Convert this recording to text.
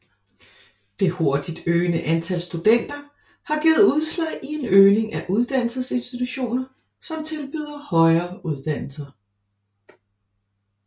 Det hurtigt øgende antal studenter har givet udslag i en øgning af uddannelsesinstitutioner som tilbyder højere uddannelse